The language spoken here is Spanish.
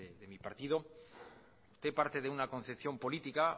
de mi partido usted parte de una concepción política